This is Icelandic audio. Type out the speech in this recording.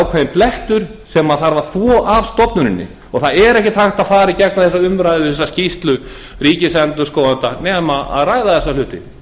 ákveðinn blettur sem þarf að þvo af stofnuninni það er ekkert hægt að fara í gegnum eða umræðu og þessa skýrslu ríkisendurskoðanda nema að ræða þessa hluti